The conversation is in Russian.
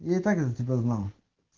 я и так за тебя знал